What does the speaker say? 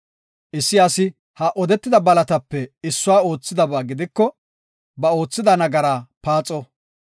Issi asi ha odetida balatape issuwa oothidaba gidiko ba oothida nagaraa paaxo.